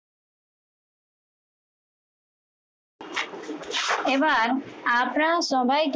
এবার আপনারা সবাই